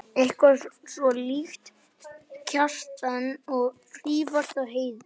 Hið sama gildir um önnur heimilisverk.